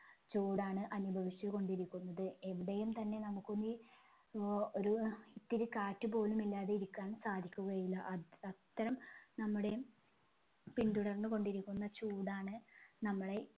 ചൂടാണ് അനുഭവിച്ച് കൊണ്ടിരിക്കുന്നത് എവിടെയും തന്നെ നമുക്കൊന്നു ഏർ ഒരു ഇത്തിരി കാറ്റ് പോലും ഇല്ലാതെ ഇരിക്കാൻ സാധിക്കുകയില്ല അത് അത്തരം നമ്മുടെ പിന്തുടർന്നുകൊണ്ടിരിക്കുന്ന ചൂടാണ് നമ്മളെ